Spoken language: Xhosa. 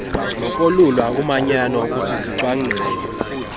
nokolula umanyano olusisicwangciso